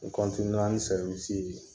N kɔntiniyera ni sɛriwisi in ye